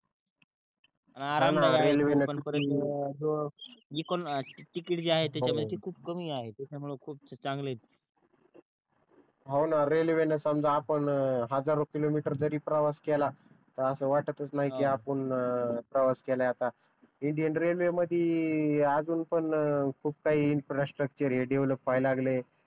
हो न रेलवे न समजा आपण हजारो किलोमीटर जरी प्रवास केला त वाटतच नाही कि आपण प्रवास केल आहे आता इंडिअन रेलवे मधी आजून पण खूप काही इन्फ्रास्ट्रक्चर डेव्हलोप व्हायला लागलय